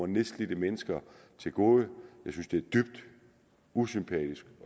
nedslidte mennesker til gode jeg synes det er dybt usympatisk